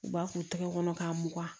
U b'a k'u tɛgɛ kɔnɔ k'a mugan